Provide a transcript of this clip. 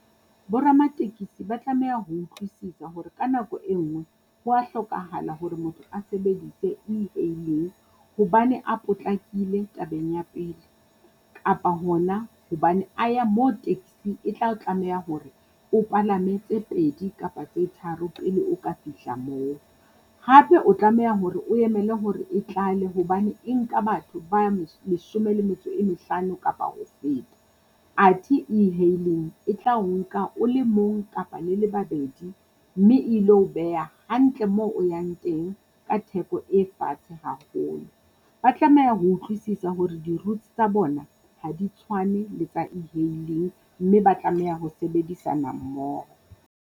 Bo ramatekesi ba tlameha ho utlwisisa hore ka nako e ngwe, ho a hlokahala hore motho a sebedise e-hailing, hobane a potlakile tabeng ya pele. Kapa hona hobane a ya mo e tla tlameha hore o palame tse pedi kapa tse tharo pele o ka fihla moo. Hape o tlameha hore o emele hore e tlale hobane e nka batho ba leshome le metso e mehlano kapa ho feta. Athe e-hailing e tlao nka o le mong kapa le le babedi mme ilo o beha hantle mo yang teng ka theko e fatshe haholo. Ba tlameha ho utlwisisa hore di-routes tsa bona ha di tshwane le tsa e-hailing mme ba tlameha ho sebedisana mmoho.